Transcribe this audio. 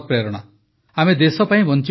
ଆମେ ଦେଶ ପାଇଁ ବଞ୍ଚିବାକୁ ଶିଖିବା